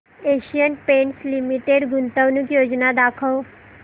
Asian paints limited गुंतवणूक योजना दाखव